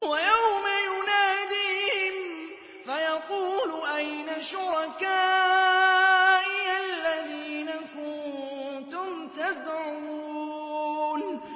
وَيَوْمَ يُنَادِيهِمْ فَيَقُولُ أَيْنَ شُرَكَائِيَ الَّذِينَ كُنتُمْ تَزْعُمُونَ